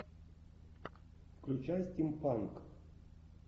включай стим панк